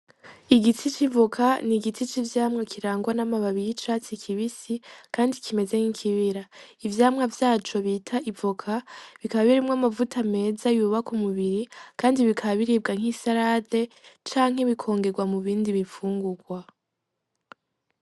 Igiti c'ivoka ni igiti c'ivyamwa kirangwa n'amababi y'icatsi kibisi kandi kimeze nk'ikibira. Ivyamwa vyaco bita "Ivoka" bikaba birimwo amavuta meza yubaka umubiri kandi bikaba biribwa nk'isarade canke bikongerwa mu bindi bifungurwa.